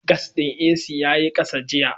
Gas ɗin AC ya yi ƙasa jiya.